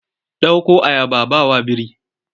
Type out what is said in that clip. Ɗauko ayaba a ba wa biri!